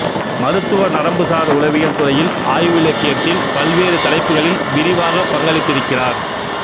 மருத்துவ நரம்புசார் உளவியல் துறையில் ஆய்விலக்கியத்தில் பல்வேறு தலைப்புகளில் விரிவாகப் பங்களித்திருக்கிறார்